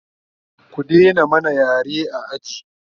ku Daina mana yare a aji!